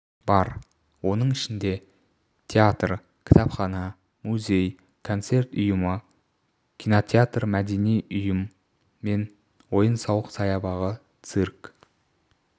бар оның ішінде театр кітапхана музей концерт ұйымы кинотеатр мәдени ұйым мен ойын-сауық саябағы цирк